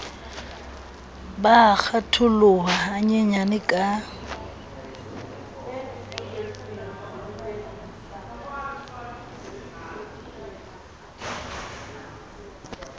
ba a kgatholoha hanyenyane ka